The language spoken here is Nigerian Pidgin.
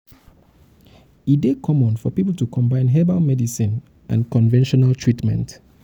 e dey common common for pipo to combine herbal medicine and conventional treatment.